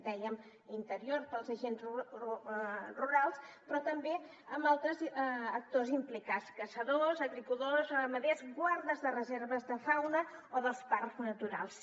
dèiem interior pels agents rurals però també amb altres actors implicats caçadors agricultors ramaders guardes de reserves de fauna o dels parcs naturals